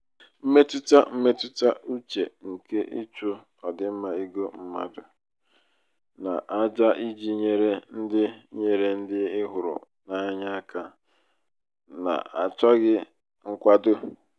mmetụta mmetụta uche nke ịchụ ọdịmma ego mmadụ n'àjà iji nyere ndị nyere ndị ị hụrụ n'anya aka n'achọghị nkwado.